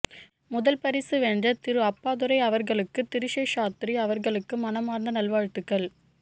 முதல் பரிசு வென்ற திரு அப்பாதுரை அவர்களுக்கும் திருசேஷாத்ரி அவர்களுக்கும் மனமார்ந்த நல் வாழ்த்துக்கள்